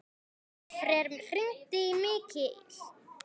Oddfreyr, hringdu í Mikil.